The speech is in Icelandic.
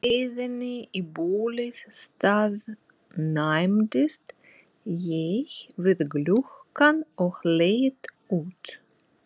leiðinni í bólið staðnæmdist ég við gluggann og leit út.